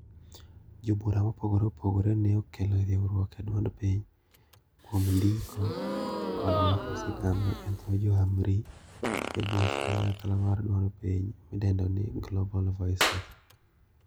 Jobura ma opogore opogore ne okelo riwruok eduond piny kuom ndiko kod kod loko sigana edho johamri ebuch kanyakla mar duond piny mi dendo ni Global voices